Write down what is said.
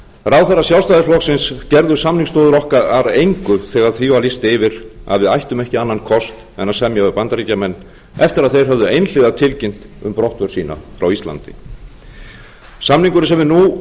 ráðherrar sjálfstæðisflokksins gerðu samningsstöðu okkar að engu þegar því var lýst yfir að við ættum ekki annan kost en að semja við bandaríkjamenn eftir að þeir höfðu einhliða tilkynnt um brottför sína frá íslandi samningurinn sem við nú